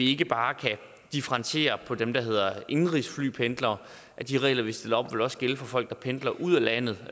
ikke bare kan differentiere på dem der hedder indenrigsflypendlere de regler vi stiller op vil også gælde for folk der pendler ud af landet